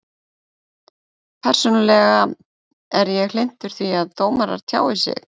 Persónulega er ég hlynntur því að dómarar tjái sig.